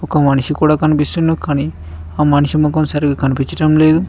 ఒక మనిషి కూడా కనిపిస్తున్నాడు కానీ ఆ మనిషి ముఖం సరిగా కనిపించడం లేదు.